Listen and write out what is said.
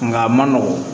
Nka a ma nɔgɔ